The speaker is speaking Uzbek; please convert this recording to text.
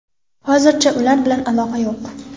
Hozircha ular bilan aloqa yo‘q.